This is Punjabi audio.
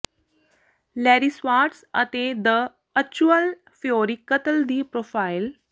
ਲੈਰੀ ਸਵਾਟਸ ਅਤੇ ਦ ਅਚੁਅਲ ਫਿਊਰੀ ਕਤਲ ਦੀ ਪ੍ਰੋਫਾਈਲ